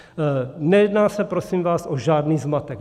Nejedná se, prosím vás, o žádný zmatek.